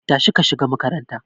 Tashi ka shiga makaranta